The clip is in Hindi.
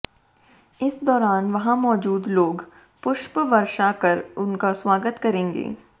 इस दौरान वहां मौजूद लोग पुष्प वर्षा कर उनका स्वागत करेंगे